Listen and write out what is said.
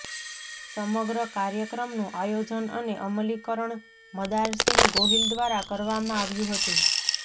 સમગ્રકાર્યક્રમનું આયોજન અને અમલીકરણ મદારસિંહ ગોહિલ દ્વારા કરવામા આવ્યું હતું